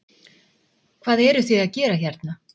Hvað eru þið að gera hérna?